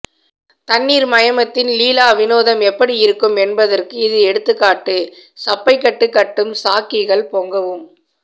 தண்ணீர் மயமத்தின் லீலா வினோதம் எப்படி இருக்கும் என்பதற்கு இது எடுத்துக்காட்டு சப்பைக்கட்டு கட்டும் சாங்கிகள் பொங்கவும்